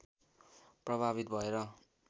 प्रभावित भएर